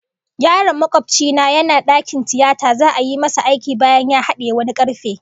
Yaron makobci na yana dakin tiyata za'a yi masa aiki bayan ya hadiyi wani karfe